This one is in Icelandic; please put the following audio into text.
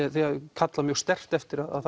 kalla mjög sterkt eftir að